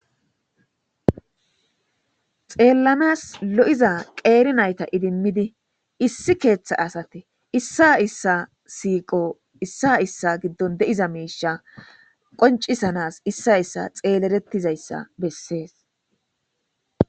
xeellanas lo'iza qeeri nayta idimmidi issi keeththa asate issa issa siiqo issa issa giddon de'iza miisha qoncisanas issa issa xeelettizayssa bessees